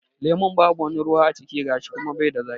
Lemun babu wani ruwa a ciki gashi kuma bai da zaƙi.